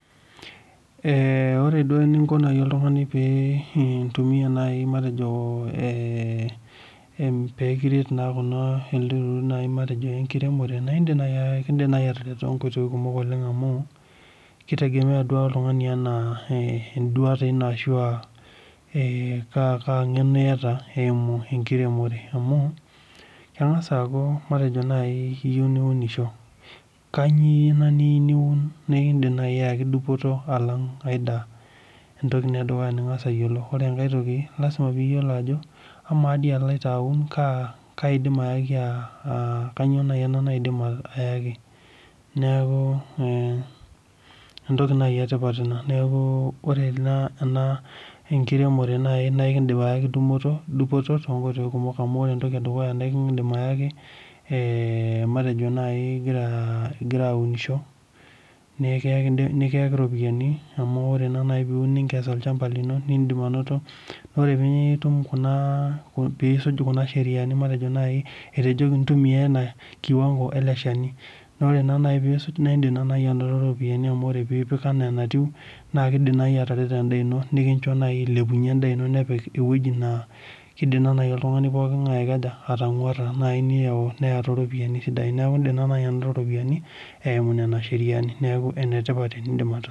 Eeh ore duo enonko naai oltung'ani pee intumia naai matejo eh em peekiret naa kuna elde turrur naai matejo enkiremore naindim naai ekindim naai atareto tonkoitoi kumok oleng amu kitegemea duake oltung'ani anaa eh enduata ino ashua eh kaa kaa ng'eno iyata eimu enkiremore amu keng'as aaku matejo naai iyieu niunisho kanyio ena niu niun nikindim naai ayaki dupoto alang ae daa entoki ina edukuya ning'as ayiolou ore enkae toki lasima piyiolo ajo amaa dii aloito aun kaa kaidim ayaki aa uh kanyio naai ena naidim ayaki neeku eh entoki naai etipat ina neeku ore ena ena enkiremore naai naikindim ayaaki dupoto, dupoto tonkoitoi kumok amu ore ore entoki edukuya naikindim ayaki eh matejo naai igira igira aunisho neekiyaki nikiyaki iropiyiani amu ore naa naai teniun ninkes olchamba lino nindim anoto naore piitum kuna piisuj kuna sheriani matejo naai etejoki intumia ena kiwango ele shani naore naa naai piisuj naindim naa naai anoto iropiani amu ore piipik enaa enatiu naa kidim naai atareto endaa ino nikincho naai ailepunyie endaa ino nepik ewueji naa kidim naa naai oltung'ani poking'ae aikaja atang'uarra naai niyau neya toropiani sidain niaku indim naa naai anoto iropiani eimu nena sheriani neaku enetipat enindim atusu.